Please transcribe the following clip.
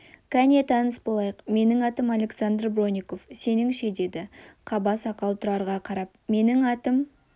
кәне таныс болайық менің атым александр бронников сенің ше деді қаба сақал тұрарға қарап менің атым